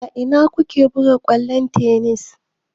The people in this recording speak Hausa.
A ina ku ke buga kwallon tennis?